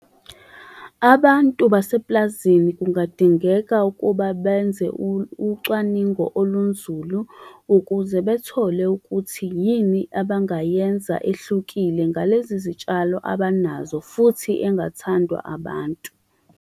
Abantu basepulazini kungadingeka ukuba benze ucwaningo olunzulu ukuze bethole ukuthi yini abangayenza ehlukile ngalezi zitshalo abanazo, futhi engathandwa abantu.